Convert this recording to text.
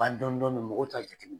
Ban dɔni dɔni mɔgɔw t'a jate minɛ.